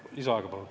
Palun lisaaega!